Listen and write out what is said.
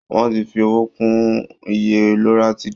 Wọ́n ti fi owó kún iye loratiday.